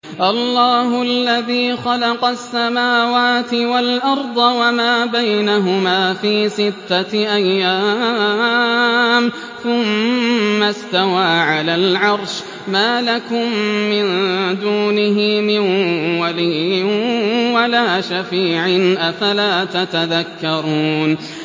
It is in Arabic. اللَّهُ الَّذِي خَلَقَ السَّمَاوَاتِ وَالْأَرْضَ وَمَا بَيْنَهُمَا فِي سِتَّةِ أَيَّامٍ ثُمَّ اسْتَوَىٰ عَلَى الْعَرْشِ ۖ مَا لَكُم مِّن دُونِهِ مِن وَلِيٍّ وَلَا شَفِيعٍ ۚ أَفَلَا تَتَذَكَّرُونَ